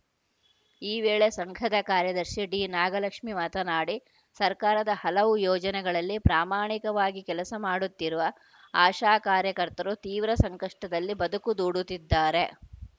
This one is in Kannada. ಈ ವೇಳೆ ಸಂಘದ ಕಾರ್ಯದರ್ಶಿ ಡಿನಾಗಲಕ್ಷ್ಮಿ ಮಾತನಾಡಿ ಸರ್ಕಾರದ ಹಲವು ಯೋಜನೆಗಳಲ್ಲಿ ಪ್ರಾಮಾಣಿಕವಾಗಿ ಕೆಲಸ ಮಾಡುತ್ತಿರುವ ಆಶಾ ಕಾರ್ಯಕರ್ತರು ತೀವ್ರ ಸಂಕಷ್ಟದಲ್ಲಿ ಬದುಕು ದೂಡುತ್ತಿದ್ದಾರೆ